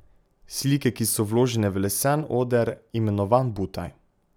Slike ki so vložene v lesen oder, imenovan butaj.